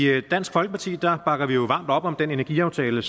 i dansk folkeparti bakker vi varmt op om den energiaftale